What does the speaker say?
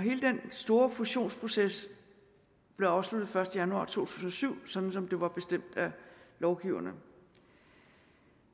hele den store fusionsproces blev afsluttet den første januar to tusind og syv sådan som det var bestemt af lovgiverne